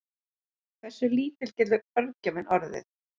hversu lítill getur örgjörvinn orðið